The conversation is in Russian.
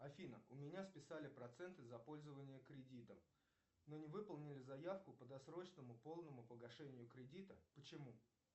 афина у меня списали проценты за пользование кредитом но не выполнили заявку по досрочному полному погашению кредита почему